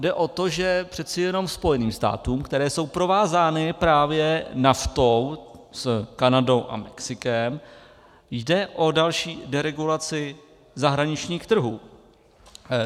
Jde o to, že přece jenom Spojeným státům, které jsou provázány právě NAFTA s Kanadou a Mexikem, jde o další deregulaci zahraničních trhů.